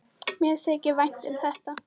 Mér þykir vænt um þetta.